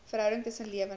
verhouding tussen lewende